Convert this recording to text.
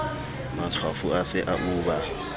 matshwafo a se a uba